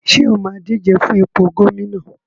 Ṣé o máa díje fún ipò gómìnà?